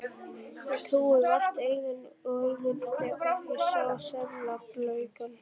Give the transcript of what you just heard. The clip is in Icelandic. Ég trúði vart eigin augum þegar ég sá seðlabunkann.